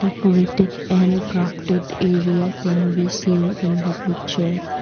decorated and crafted area can be seen in the picture.